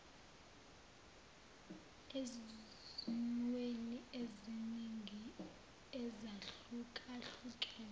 ezimweni eziningi ezahlukahlukene